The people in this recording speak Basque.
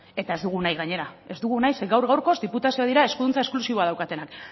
eta ez dugu nahi gainera ez dugu nahi ze gaur gaurkoz diputazioak dira eskuduntza esklusiboak daukatenak